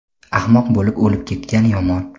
ahmoq bo‘lib o‘lib ketgan yomon.